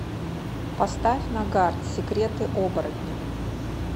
поставь нагарт секреты оборотня